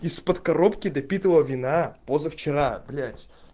из-под коробки допитого вина позавчера блять